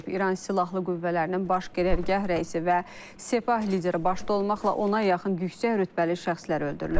İran silahlı qüvvələrinin baş qərargah rəisi və Sepah lideri başda olmaqla ona yaxın yüksək rütbəli şəxslər öldürülüb.